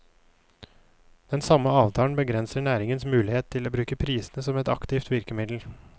Den samme avtalen begrenser næringens muligheter til å bruke prisene som et aktivt virkemiddel.